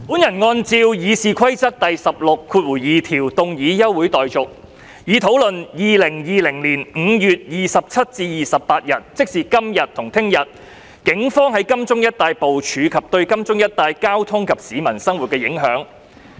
我按照《議事規則》第162條要求動議休會待續，以討論2020年5月27日至28日，警方在金鐘一帶的部署及對金鐘一帶交通及市民生活的影響。